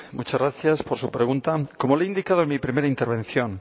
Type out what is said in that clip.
muchas gracias por su pregunta como le he indicado en mi primera intervención